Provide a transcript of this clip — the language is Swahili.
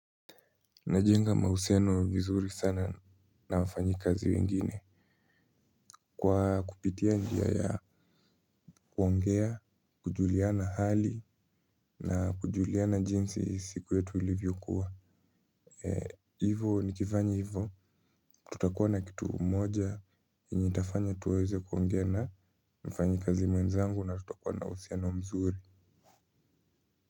Najenga mahusiano vizuri sana na wafanyikazi wengine. Kwa kupitia njia ya kuongea, kujuliana hali na kujuliana jinsi siku yetu ilivyokua. Hivo nikifanya hivo tutakuwa na kitu moja yenye itafanya tuweze kuongea na mfanyikazi mwenzangu na tutakuwa na uhusiano mzuri.